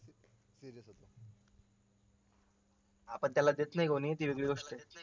हा पण त्याला देत नाही कोणी ती वेगळी गोष्टए